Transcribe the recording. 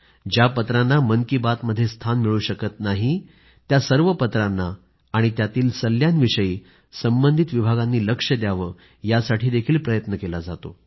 ज्या पत्रांना मन की बातमध्ये स्थान मिळू शकत नाही त्या सर्व पत्रांना आणि त्यातील सल्ल्यांविषयी संबंधित विभागांनी लक्ष द्यावंयासाठीही प्रयत्न केला जातो